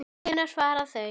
Hvenær fara þau?